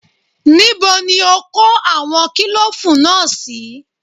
Níbo ni o kó àwọn kílòfù náà sí?